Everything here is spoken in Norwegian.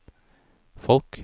folk